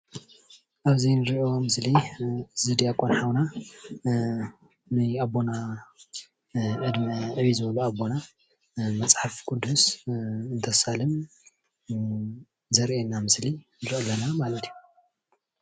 አብዚ እንርኦ ምስሊ እዚ ድያቆን ሓውና ናይ አቦና ዕድመ እዩ ዝብሎ አቦና መፅሓፍ ቅዱስ ከሳልም ዘርእና ምስሊ እደገና ዘርእየና ማለት እዩ፡፡